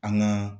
An ŋaa